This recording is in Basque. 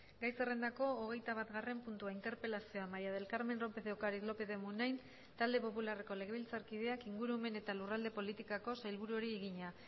gai zerrendako hogeita batgarren puntua interpelazioa maría del carmen lópez de ocariz lópez de munain euskal talde popularreko legebiltzarkideak ingurumen eta lurralde politikako sailburuari egina